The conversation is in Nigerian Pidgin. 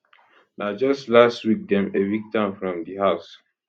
na just last week dem evict am from di house